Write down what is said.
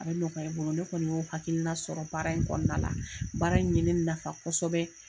A bɛ nɔgɔya i bolo ne kɔni y'o hakilina sɔrɔ baara in kɔnɔna la, baara in ɲe ne nafa kosɛbɛ